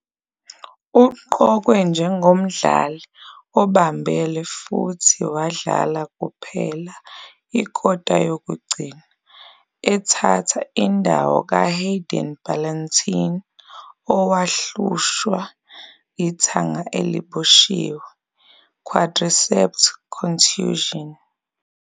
Uqokwe njengomdlali obambele futhi wadlala kuphela ikota yokugcina, ethatha indawo kaHayden Ballantyne owahlushwa ithanga eliboshiwe, quadriceps contusion.